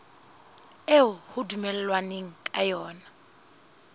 eo ho dumellanweng ka yona